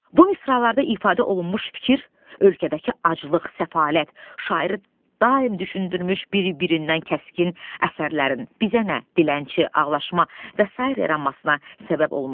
Bu misralarda ifadə olunmuş fikir ölkədəki aclıq, səfalət şairi daim düşündürmüş, bir-birindən kəskin əsərlərin bizə nə dilənçi, ağlaşma və sair eramasına səbəb olmuşdu.